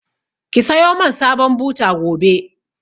Ki sayo man sabon buta gobe!